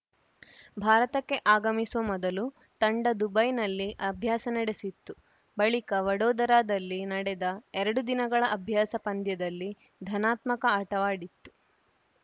ಭಾರತಕ್ಕೆ ಆಗಮಿಸುವ ಮೊದಲು ತಂಡ ದುಬೈನಲ್ಲಿ ಅಭ್ಯಾಸ ನಡೆಸಿತ್ತು ಬಳಿಕ ವಡೋದರಾದಲ್ಲಿ ನಡೆದ ಎರಡು ದಿನಗಳ ಅಭ್ಯಾಸ ಪಂದ್ಯದಲ್ಲಿ ಧನಾತ್ಮಕ ಆಟವಾಡಿತ್ತು